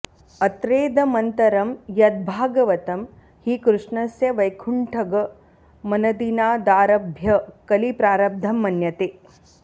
अत्रेदमन्तरं यद्भागवतं हि कृष्णस्य वैकुण्ठगमनदिनादारभ्य कलि प्रारब्धं मन्यते